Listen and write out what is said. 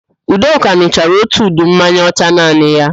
Udoka n̄ụchara ótù udu mmanya ọcha naanị ya